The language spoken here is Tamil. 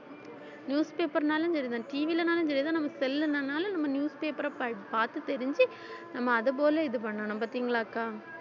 newspaper னாலும் சரிதான் TV லனாலும் சரிதான் நம்ம cell ன்னாலும் நம்ம newspaper அ படி~ பார்த்து தெரிஞ்சு நம்ம அது போல இது பண்ணணும் பாத்தீங்களாக்கா